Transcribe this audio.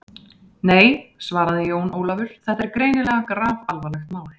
Nei, svaraði Jón Ólafur, þetta er greinilega grafalvarlegt mál.